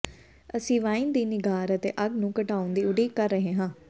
ਅਸੀਂ ਵਾਈਨ ਦੀ ਨਿਘਾਰ ਅਤੇ ਅੱਗ ਨੂੰ ਘਟਾਉਣ ਦੀ ਉਡੀਕ ਕਰ ਰਹੇ ਹਾਂ